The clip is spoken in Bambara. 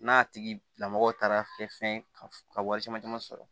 N'a tigilamɔ taara kɛ fɛn ka wari caman caman sɔrɔ